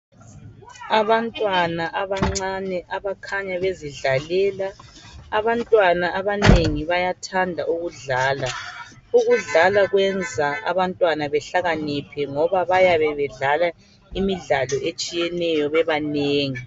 Abantwana abancane abakhanya bezidlalela, abantwana abanengi bayathanda ukudlala .Ukudlala kuyenza abantwana behlakaniphe ngoba bayabe bedlala imidlalo etshiyeneyo bebanengi.